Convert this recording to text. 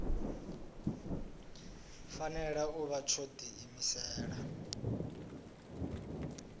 fanela u vha tsho diimisela